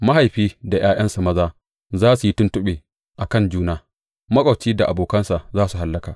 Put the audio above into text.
Mahaifi da ’ya’yansa maza za su yi tuntuɓe a kan juna; maƙwabci da abokansa za su hallaka.